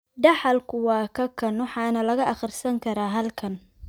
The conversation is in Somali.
Dhaxalku waa kakan, waxaana laga akhrisan karaa halkan.